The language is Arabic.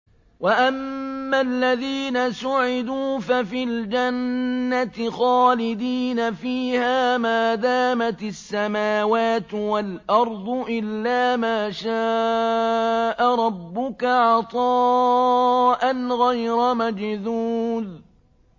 ۞ وَأَمَّا الَّذِينَ سُعِدُوا فَفِي الْجَنَّةِ خَالِدِينَ فِيهَا مَا دَامَتِ السَّمَاوَاتُ وَالْأَرْضُ إِلَّا مَا شَاءَ رَبُّكَ ۖ عَطَاءً غَيْرَ مَجْذُوذٍ